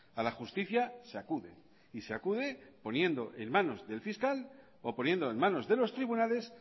a la justicia se acude y se acude poniendo en manos del fiscal o poniendo en manos de los tribunales